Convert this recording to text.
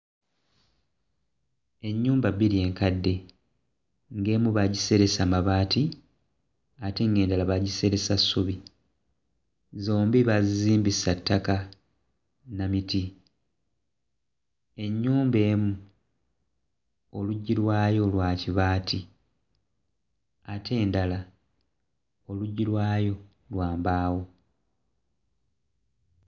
Ennyumba bbiri enkadde ng'emu baagiseresa mabaati ate ng'endala baagiseresa ssubi. Zombi baazizimbisa ttaka na miti, ennyumba emu oluggi lwayo lwa kibaati ate endala oluggi lwayo lwa mbaawo.